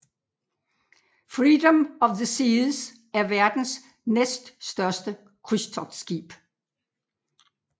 Freedom of the Seas er verdens næststørste krydstogtskib